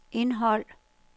indhold